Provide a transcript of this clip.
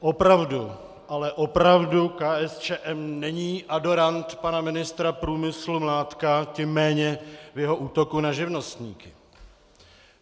Opravdu, ale opravdu KSČM není adorant pana ministra průmyslu Mládka, tím méně jeho útoku na živnostníky.